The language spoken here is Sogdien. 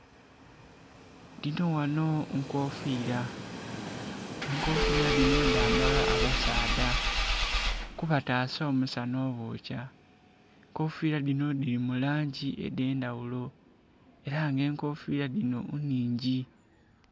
Dinho ghano nkofiila. Enkofiila dinho dhambalwa abasaadha, kubataasa omusana obookya. Enkofiila dinho dhili mu langi edh'endhaghulo, ela nga enkofiila dinho nnhingi.